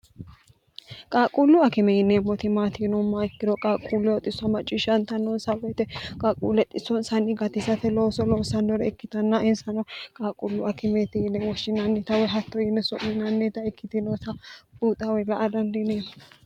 qaaquulluu akime yinneemoti maati Yinummoha ikkiro qaaqquullu xisso macciishshantanoonsa woyite qaaquulle dhissoonsanni gatisate looso loosannore ikkitanna insano qaaquullu akimeeti yine woshshinannita woyi hatto yine su'minannita ikkitinota buuxa woyi la'a dandiineemo.